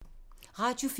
Radio 4